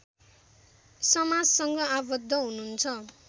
समाजसँग आबद्ध हुनुहुन्छ